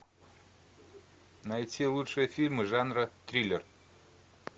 найти лучшие фильмы жанра триллер